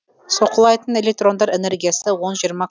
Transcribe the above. соққылайтын электрондар энергиясы он жиырма